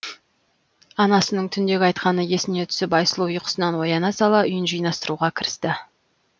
анасының түндегі айтқаны есіне түсіп айсұлу ұйқысынан ояна сала үйін жинастыруға кірісті